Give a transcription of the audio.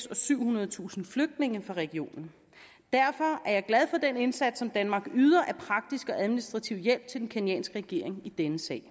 og syvhundredetusind flygtninge fra regionen derfor er jeg glad for den indsats som danmark yder af praktisk og administrativ hjælp til den kenyanske regering i denne sag